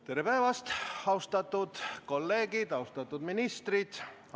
Tere päevast, austatud kolleegid ja austatud ministrid!